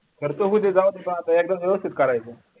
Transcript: करतो की ते जाऊ आता मग एकदाच व्यवस्थित करायचं